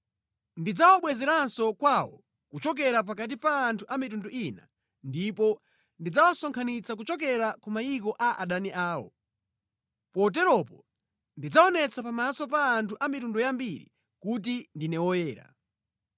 Ndidzawabwezeranso kwawo kuchokera pakati pa anthu a mitundu ina ndipo ndidzawasonkhanitsa kuchokera ku mayiko a adani awo. Poteropo ndidzaonetsa pamaso pa anthu a mitundu yambiri kuti ndine Woyera.